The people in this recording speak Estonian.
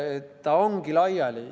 See ongi laiali.